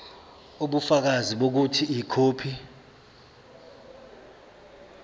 ubufakazi bokuthi ikhophi